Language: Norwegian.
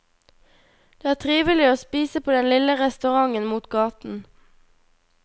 Det er trivelig å spise på den lille restauranten mot gaten.